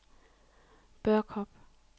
Børkop